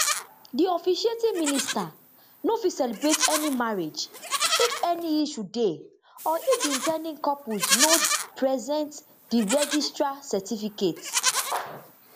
di officiating minister no fit celebrate any marriage if any issue dey or if di in ten ding couples no present di registrar certificate